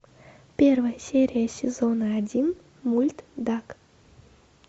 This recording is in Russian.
первая серия сезона один мульт дак